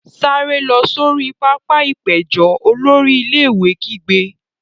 Sáré lọ sori pápá-ìpéjọ! Olórí ilé-ìwé kígbe.